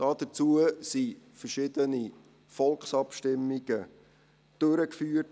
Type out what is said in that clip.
Dazu wurden verschiedene Volksabstimmungen durchgeführt.